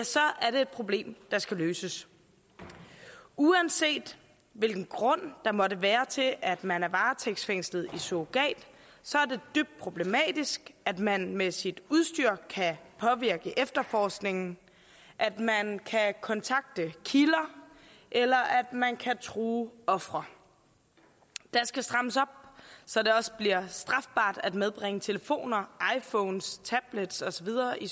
så er det problem der skal løses uanset hvilken grund der måtte være til at man er varetægtsfængslet i surrogat så er det dybt problematisk at man med sit udstyr kan påvirke efterforskningen at man kan kontakte kilder eller at man kan true ofre der skal strammes op så det også bliver strafbart at medbringe telefoner iphones tablets og så videre i